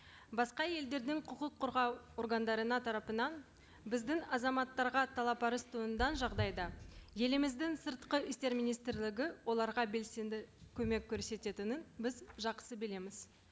басқа елдердің құқық қорғау органдарының тарапынан біздің азаматтарға талап арыз жағдайда еліміздің сыртқы істер министрлігі оларға белсенді көмек көрсететінін біз жақсы білеміз